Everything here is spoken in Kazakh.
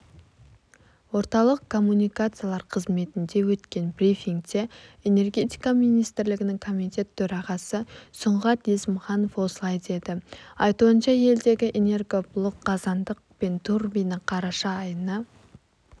орталық коммуникациялар қызметінде өткен брифингте энергетика министрлігінің комитет төрағасы сұңғат есімханов осылай деді айтуынша елдегі энергоблок қазандық пен турбина қараша айында